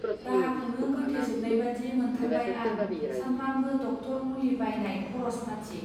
राहाखौनो गोथे जोबनायनायबादि मोनथारबाय आं सानफ्रामबो डक्टर मुलि बायनाय खरस फाथि.